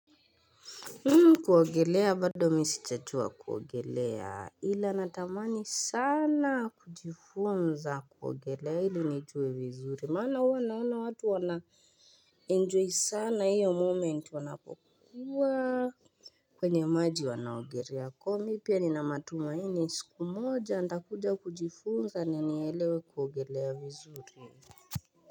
Kuogelea bado mimi sijajua kuogelea ila natamani sana kujifunza kuogelea ili nijue vizuri mana huwa naona watu wana enjoy sana hiyo moment wanapokuwa kwenye maji wanaogelea kwa hiyo mimi pia nina matumaini siku moja nitakuja kujifunza nielewe kuogelea vizuri.